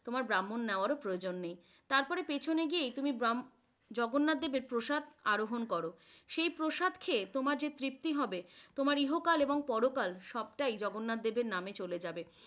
তোমার ব্রাহ্মণ নেওয়ারও প্রয়োজন নেই। তারপরে পিছনে গিয়ে তুমি জগন্নাথ দেবের প্রসাদ আরোহণ করো, সে প্রসাদ খেয়ে তোমার যে তৃপ্তি হবে তোমার ইহকাল এবং পরকাল সবটাই জগন্নাথ দেবের নামে চলে যাবে।